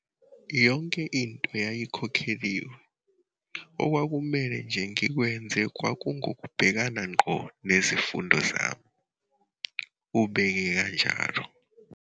"Yonke into yayikhokheliwe, okwakumele nje ngikwenze kwakungukubhekana ngqo nezifundo zami," ubeke kanjalo.